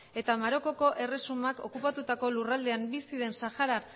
eta marokoko erresumak okupatutako lurraldean bizi den saharar